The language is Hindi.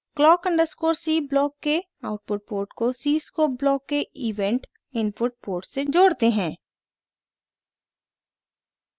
clock अंडरस्कोर c ब्लॉक के आउटपुट पोर्ट को cscope ब्लॉक के इवेंट इनपुट पोर्ट से जोड़ते हैं